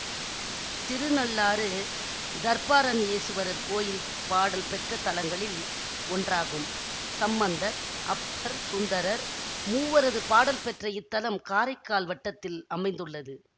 திருநள்ளாறு தர்ப்பாரண்யேசுவரர் கோயில் பாடல் பெற்ற தலங்களில் ஒன்றாகும் சம்பந்தர் அப்பர் சுந்தரர் மூவரது பாடல் பெற்ற இத்தலம் காரைக்கால் வட்டத்தில் அமைந்துள்ளது